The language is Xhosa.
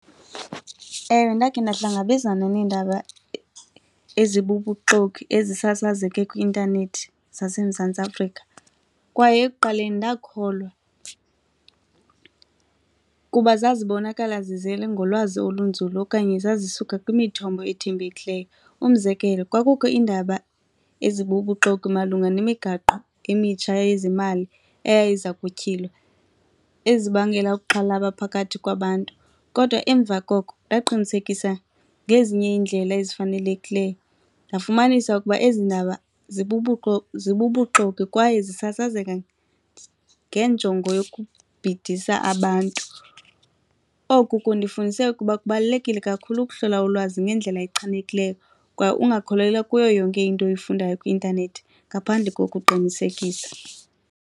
Ewe, ndakhe ndahlangabezana neendaba ezibubuxoki ezisasazeke kwi-intanethi zaseMzantsi Afrika kwaye ekuqaleni ndakholwa kuba zazibonakala zizele ngolwazi olunzulu okanye zazisuka kwimithombo ethembekileyo. Umzekelo, kwakukho iindaba ezibubuxoki malunga nemigaqo emitsha yezimali eyayiza kutyhilwa ezibangela ukuxhalaba phakathi kwabantu. Kodwa emva koko ndaqinisekisa ngezinye iiindlela ezifanelekileyo, ndafumanisa ukuba ezi ndaba zibubuxoki kwaye zisasazeka ngenjongo yokubhidisa abantu. Oku kundifundise ukuba kubalulekile kakhulu ukuhlola ulwazi ngendlela echanekileyo kwaye ungakholelwa kuyo yonke into oyifundayo kwi-intanethi ngaphandle kokuqinisekisa.